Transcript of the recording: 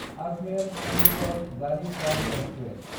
आजमेर–चन्दिगड़ Garib Rath express